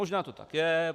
Možná to tak je.